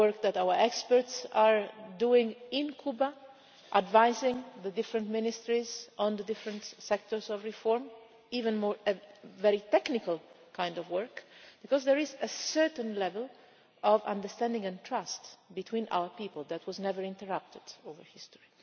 Our experts are working in Cuba, advising the different ministries on the different sectors of reform even very technical kind of work because there is a certain level of understanding and trust between our people that has never been interrupted throughout history.